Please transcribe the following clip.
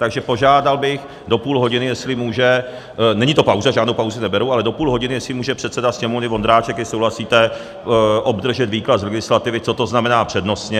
Takže požádal bych do půl hodiny, jestli může - není to pauza, žádnou pauzu neberu - ale do půl hodiny jestli může předseda Sněmovny Vondráček, jestli souhlasíte, obdržet výklad z legislativy, co to znamená přednostně.